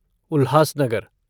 Ulhasnagar